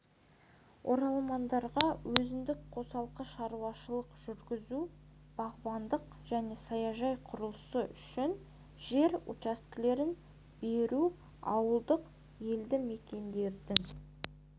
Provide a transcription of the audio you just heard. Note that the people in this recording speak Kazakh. оралмандарға өзіндік қосалқы шаруашылық жүргізу бағбандық және саяжай құрылысы үшін жер учаскелерін беру ауылдық елді мекендердің